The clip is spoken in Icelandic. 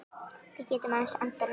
Við getum aðeins andað núna.